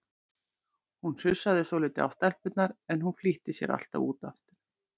Hún sussaði svolítið á stelpurnar, en hún flýtti sér alltaf út aftur.